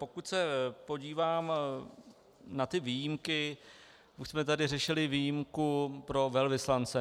Pokud se podívám na ty výjimky, už jsme tady řešili výjimku pro velvyslance.